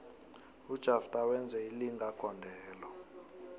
ujafter wenze ilinga gondelo